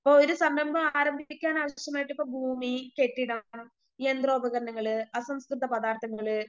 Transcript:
ഇപ്പൊ ഒരു സംരംഭം ആരംഭിപ്പിക്കാനാവശ്യമായിട്ടിപ്പോ ഭൂമി, കെട്ടിടം, യന്ത്രോപകരണങ്ങള്, അസംസ്‌കൃത പദാർത്ഥങ്ങള്